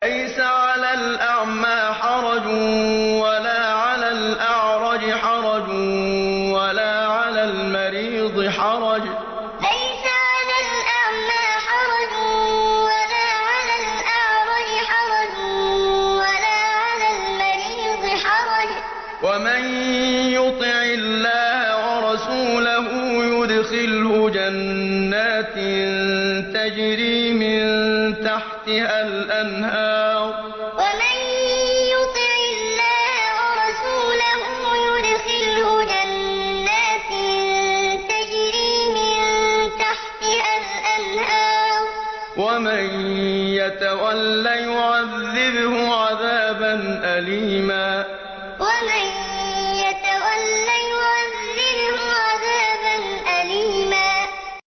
لَّيْسَ عَلَى الْأَعْمَىٰ حَرَجٌ وَلَا عَلَى الْأَعْرَجِ حَرَجٌ وَلَا عَلَى الْمَرِيضِ حَرَجٌ ۗ وَمَن يُطِعِ اللَّهَ وَرَسُولَهُ يُدْخِلْهُ جَنَّاتٍ تَجْرِي مِن تَحْتِهَا الْأَنْهَارُ ۖ وَمَن يَتَوَلَّ يُعَذِّبْهُ عَذَابًا أَلِيمًا لَّيْسَ عَلَى الْأَعْمَىٰ حَرَجٌ وَلَا عَلَى الْأَعْرَجِ حَرَجٌ وَلَا عَلَى الْمَرِيضِ حَرَجٌ ۗ وَمَن يُطِعِ اللَّهَ وَرَسُولَهُ يُدْخِلْهُ جَنَّاتٍ تَجْرِي مِن تَحْتِهَا الْأَنْهَارُ ۖ وَمَن يَتَوَلَّ يُعَذِّبْهُ عَذَابًا أَلِيمًا